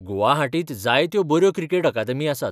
गुवाहाटींत जायत्यो बऱ्यो cricket academy आसात.